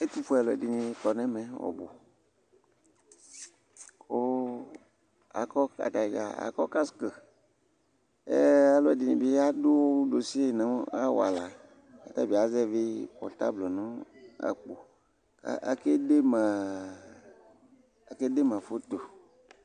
ɛtufue alò ɛdi kɔ n'ɛmɛ ɔbu kò akɔ atadza akɔ kask alò ɛdini bi adu nosi no awala k'atabi azɛvi pɔtable no akpo kò ake dema ake de ma foto